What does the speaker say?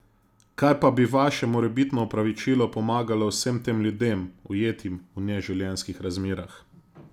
Kaj pa bi vaše morebitno opravičilo pomagalo vsem tem ljudem, ujetim v neživljenjskih razmerah?